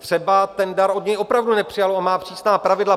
Třeba ten dar od něj opravdu nepřijalo a má přísná pravidla.